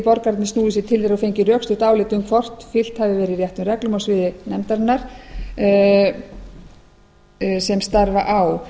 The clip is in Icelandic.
borgararnir snúið sér til þeirra og fengið rökstutt álit um hvort fylgt hafi verið réttum reglum á sviði nefndarinnar sem starfa á